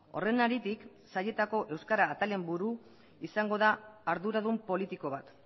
horren haritik sailetako euskara atalen buru izango da arduradun politiko bat